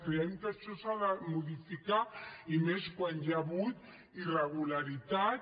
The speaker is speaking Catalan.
creiem que això s’ha de modificar i més quan hi ha hagut irregularitats